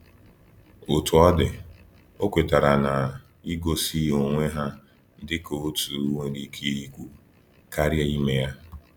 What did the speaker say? Otú ọ dị, ọ kwetara na igosi onwe ha dịka otu nwere ike ikwu karịa ime ya.